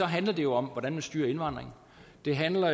handler det jo om hvordan man styrer indvandringen det handler